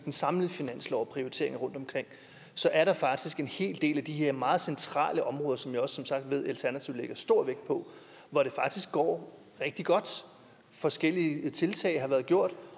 den samlede finanslov og prioriteringer rundtomkring så er der faktisk en hel del af de her meget centrale områder som jeg også som sagt ved at alternativet lægger stor vægt på hvor det faktisk går rigtig godt forskellige tiltag har været gjort